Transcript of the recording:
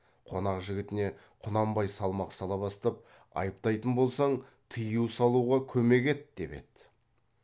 қонақ жігітіне құнанбай салмақ сала бастап айыптайтын болсаң тыю салуға көмек ет деп еді